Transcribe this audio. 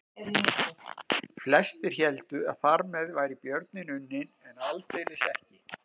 Flestir héldu að þar með væri björninn unninn en aldeilis ekki.